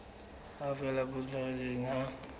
ho fela ho potlakileng ha